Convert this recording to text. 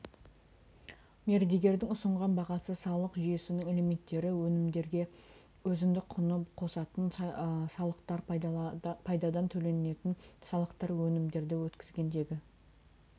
мердігердің ұсынған бағасы салық жүйесінің элементтері өнімдерге өзіндік құнды қосатын салықтар пайдадан төленетін салықтар өнімдерді өткізгендегі